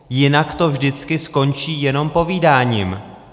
Jinak to vždycky skončí jenom povídáním.